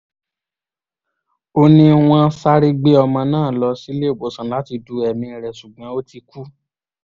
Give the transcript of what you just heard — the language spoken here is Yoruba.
ó ní wọ́n sáré gbé ọmọ náà lọ síléèwọ̀sán láti du ẹ̀mí rẹ̀ ṣùgbọ́n ó ti kú